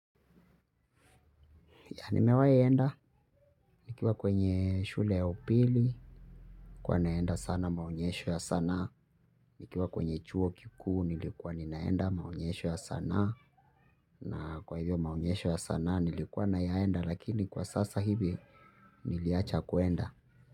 Nimewahi enda nikiwa kwenye shule ya upili, nilikuwa naenda sana maonyesho ya sanaa, nikiwa kwenye chuo kikuu, nilikuwa ninaenda maonyesho ya sanaa na kwa hivyo maonyesho ya sanaa nilikuwa na yaenda lakini kwa sasa hivi niliacha kuenda.